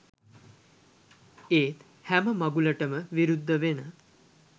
ඒත් හැම මඟුලටම විරුද්ධ වෙන